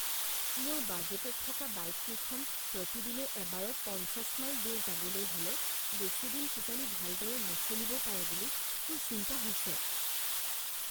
মোৰ বাজেটত থকা বাইককেইখন প্ৰতিদিনে এবাৰত পঞ্চাছ মাইল দূৰ যাবলৈ হ'লে বেছি দিন কিজানি ভালদৰে নচলিবও পাৰে বুলি মোৰ চিন্তা হৈছে।